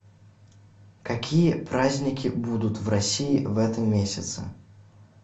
какие праздники будут в россии в этом месяце